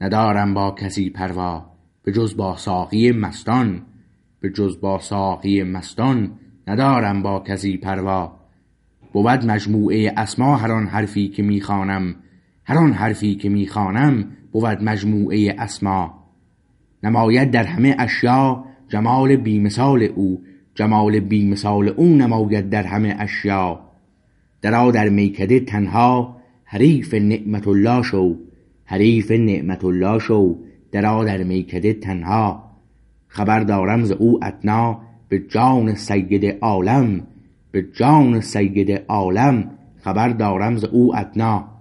ندارم با کسی پروا به جز با ساقی مستان به جز با ساقی مستان ندارم با کسی پروا بود مجموعه اسما هر آن حرفی که می خوانم هر آن حرفی که می خوانم بود مجموعه اسما نماید در همه اشیا جمال بی مثال او جمال بی مثال او نماید در همه اشیا درآ در میکده تنها حریف نعمت الله شو حریف نعمت الله شو درآ در میکده تنها خبر دارم ز او ادنا به جان سید عالم به جان سید عالم خبر دارم ز او ادنا